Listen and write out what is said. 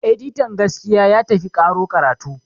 editian gaskiya ya tafi karo karatu